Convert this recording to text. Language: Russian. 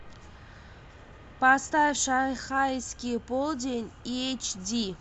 поставь шанхайский полдень эйч ди